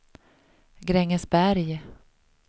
Grängesberg